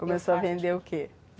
Começou a vender o quê?